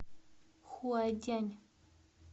хуадянь